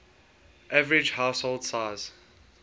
average household size